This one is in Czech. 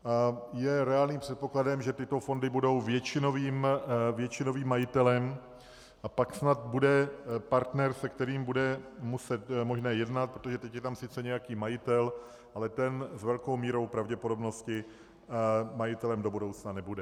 Je reálným předpokladem, že tyto fondy budou většinovým majitelem, a pak snad bude partner, se kterým bude možné jednat, protože teď je tam sice nějaký majitel, ale ten s velkou mírou pravděpodobnosti majitelem do budoucna nebude.